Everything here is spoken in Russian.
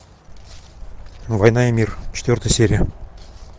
война и мир четвертая серия